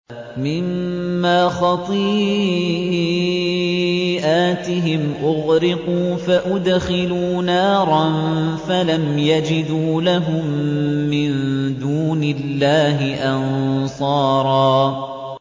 مِّمَّا خَطِيئَاتِهِمْ أُغْرِقُوا فَأُدْخِلُوا نَارًا فَلَمْ يَجِدُوا لَهُم مِّن دُونِ اللَّهِ أَنصَارًا